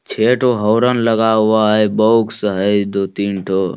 छे ठो हौरन लगा हुआ है बॉक्स है दो-तीन ठो ।